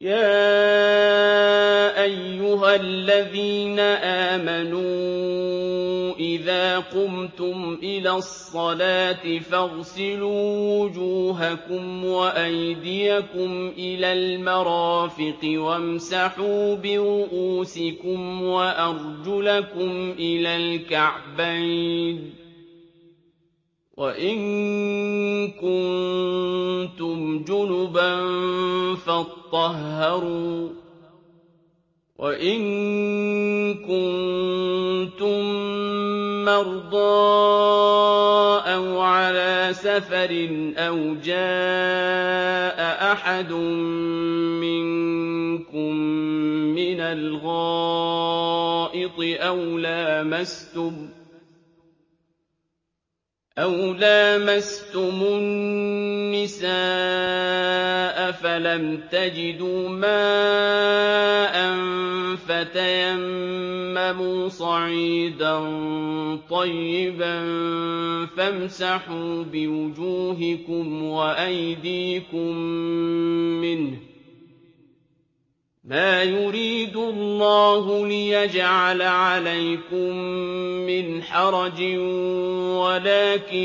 يَا أَيُّهَا الَّذِينَ آمَنُوا إِذَا قُمْتُمْ إِلَى الصَّلَاةِ فَاغْسِلُوا وُجُوهَكُمْ وَأَيْدِيَكُمْ إِلَى الْمَرَافِقِ وَامْسَحُوا بِرُءُوسِكُمْ وَأَرْجُلَكُمْ إِلَى الْكَعْبَيْنِ ۚ وَإِن كُنتُمْ جُنُبًا فَاطَّهَّرُوا ۚ وَإِن كُنتُم مَّرْضَىٰ أَوْ عَلَىٰ سَفَرٍ أَوْ جَاءَ أَحَدٌ مِّنكُم مِّنَ الْغَائِطِ أَوْ لَامَسْتُمُ النِّسَاءَ فَلَمْ تَجِدُوا مَاءً فَتَيَمَّمُوا صَعِيدًا طَيِّبًا فَامْسَحُوا بِوُجُوهِكُمْ وَأَيْدِيكُم مِّنْهُ ۚ مَا يُرِيدُ اللَّهُ لِيَجْعَلَ عَلَيْكُم مِّنْ حَرَجٍ وَلَٰكِن